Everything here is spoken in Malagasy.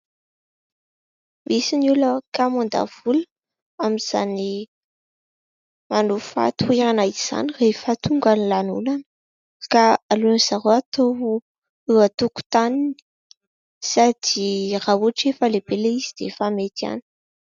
Misy ny olona kamo handany vola amin'izany manofa toerana izany rehefa tonga ny lanonana ka aleon'i zareo eo an-tokotaniny sady raha ohatra efa lehibe ilay izy dia efa mety ihany.